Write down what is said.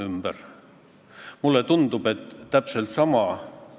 Võime võrdluseks tuua ka selle, et kunagi oli ju 20 eurot äärmiselt suur summa.